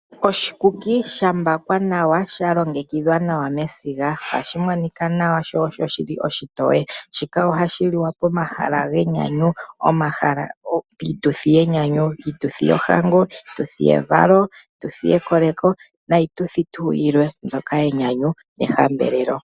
Oshikuki sha mbakwa nawa, sha longekidhwa nawa mesiga. Ohashi monika nawa sho osho oshitoye. Shika ohashi liwa pomahala genyanyu, piituthi yenyanyu, iituthi yohango, iituthi yevalo, iituthi yekoleko niituthi tuu yilwe mbyoka yenyanyu nehambelelo.